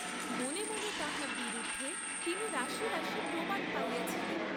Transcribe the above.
মনে মনে তাঁহার বিরুদ্ধে তিনি রাশি রাশি প্রমাণ পাইয়াছিলেন।